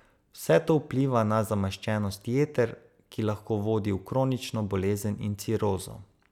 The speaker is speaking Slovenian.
Vse to vpliva na zamaščenost jeter, ki lahko vodi v kronično bolezen in cirozo.